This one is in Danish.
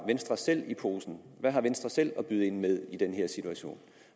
venstre selv i posen hvad har venstre selv at byde ind med i den her situation